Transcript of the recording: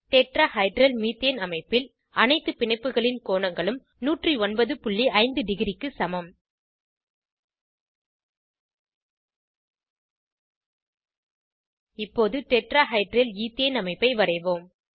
tetrahedral methane அமைப்பில் அனைத்து பிணைப்புகளின் கோணங்களும் 1095 டிக்ரி க்கு சமம் இப்போது டெட்ராஹைட்ரல் ஈத்தேன் அமைப்பை வரைவோம்